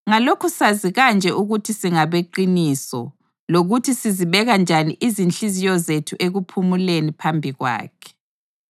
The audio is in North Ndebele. Ngalokhu sazi kanje ukuthi singabeqiniso lokuthi sizibeka njani inhliziyo zethu ekuphumuleni phambi kwakhe